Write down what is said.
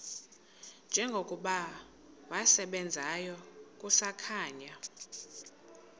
njengokuba wasebenzayo kusakhanya